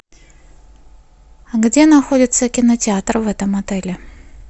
где находится кинотеатр в этом отеле